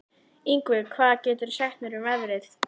Yngvi, hvað geturðu sagt mér um veðrið?